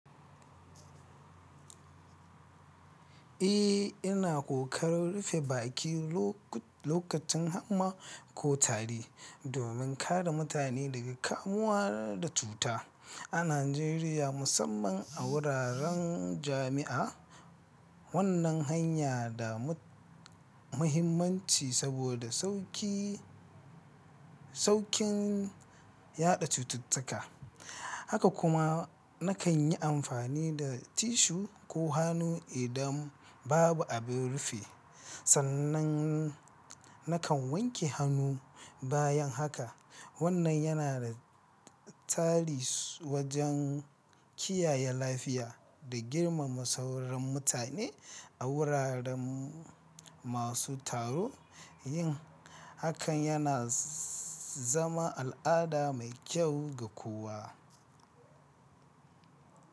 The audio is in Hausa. Eh, ina ƙoƙarin rufe baki lokacin hamma ko tari domin kare mutane daga kamuwa da cuta. A Najeriya, musamman a wuraren jami'a, wannan hanya da muhimmanci saboda saukin yaɗa cututtuka. Haka kuma, nakan yi amfani da tissue ko hannu idan babu abin rufe, sannan nakan wanke hannu bayan haka. Wannan yana da tasiri wajen kiyaye lafiya da girmama sauran mutane a wuraren masu taro. Yin hakan yana zama al'ada mai kyau ga kowa.